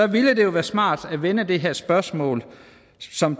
ville det jo være smart at vende det her spørgsmål som